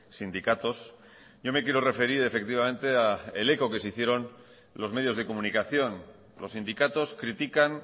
sindicatos yo me quiero referir efectivamente al eco que se hicieron los medios de comunicación los sindicatos critican